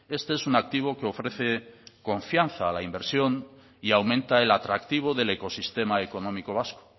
este es un activo que ofrece confianza a la inversión y aumenta el atractivo del ecosistema económico vasco